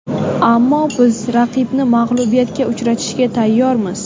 Ammo biz raqibni mag‘lubiyatga uchratishga tayyormiz”.